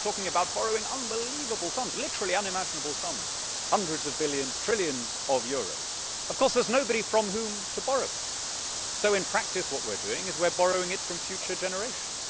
and we are now talking about borrowing unbelievable sums, literally unimaginable sums hundreds of billions, trillions of euros. There is nobody from whom to borrow it, so in practice what we are doing is borrowing it from future generations.